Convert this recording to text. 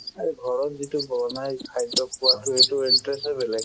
আৰু ঘৰত যিটো বনাই খাদ্য খোৱাতো সেইটো interest য়ে বেলেগ